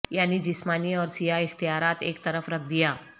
یعنی جسمانی اور سیاہ اختیارات ایک طرف رکھ دیا